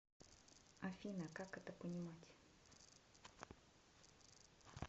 афина как это понимать